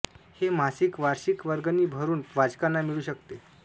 हे मासिक वार्षिक वर्गणी भरून वाचकांना मिळू शकते